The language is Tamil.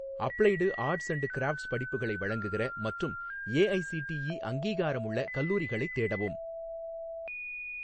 அப்ளைடு ஆர்ட்ஸ் அண்டு கிராஃப்ட்ஸ் படிப்புகளை வழங்குகிற மற்றும் ஏஐசிடிஇ அங்கீகாரமுள்ள கல்லூரிகளைத் தேடவும்.